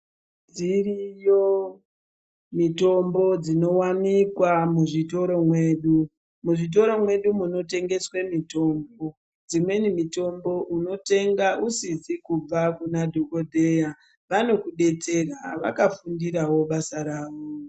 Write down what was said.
Dziriyo mitombo dzinowanikwa muzvitoro mwedu. Muzvitoro mwedu munotengeswe mitombo. Dzimweni mitombo unotenga usidzikubva kunadhokoteya. Vanokudetsera, vakafundirawo basa rawo.